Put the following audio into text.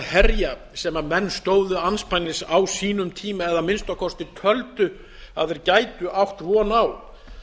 herja sem menn stóðu andspænis á sínum eða að minnsta kosti töldu að þeir gætu átt von á það